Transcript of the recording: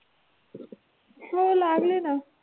हो लागले ना.